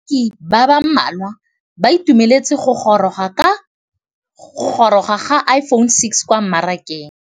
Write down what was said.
Bareki ba ba malwa ba ituemeletse go gôrôga ga Iphone6 kwa mmarakeng.